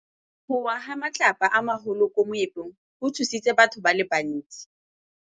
Go wa ga matlapa a magolo ko moepong go tshositse batho ba le bantsi.